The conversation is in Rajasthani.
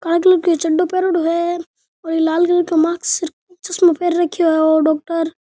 आदमी के चढ़ो पहरयोडो है और लाल का मास्क र चस्माे पहर रखयो है ओ डॉक्टर ।